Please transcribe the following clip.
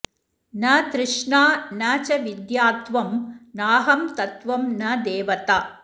न तृष्णा न च विद्यात्वं नाहं तत्त्वं न देवता